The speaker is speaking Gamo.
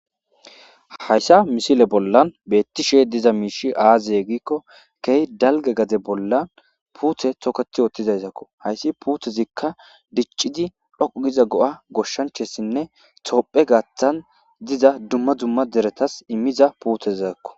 Hayssa misile bollan beettishe diza miishi aazaye giikko key dalge gade bollan puuthe toket oothtizaysakko hayssi puuthezikka diccidi dhoqu giza go'a goshshanchessinne toopphe gaaththan diza dumma dumma deretas immiza puuthezakko.